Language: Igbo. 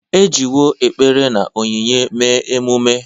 E jiwo ekpere na onyinye mee emume.